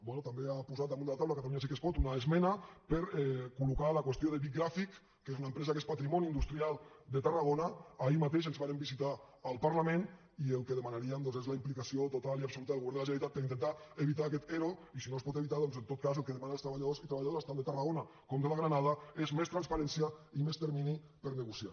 bé també ha posat damunt de la taula catalunya sí que es pot una esmena per col·locar la qüestió de bic graphic que és una empresa que és patrimoni industrial de tarragona ahir mateix ens varen visitar al parlament i el que demanaríem és la implicació total i absoluta del govern de la generalitat per intentar evitar aquest ero i si no es pot evitar doncs en tot cas el que demanen els treballadors i treballadores tant de tarragona com de la granada és més transparència i més termini per negociar